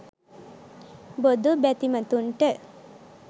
බොදු බැතිමතුන්ට